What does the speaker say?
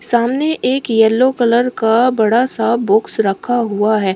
सामने एक yellow colour का बड़ा सा बॉक्स रखा हुआ है।